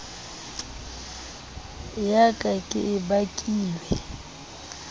ya ka ke e bakilweng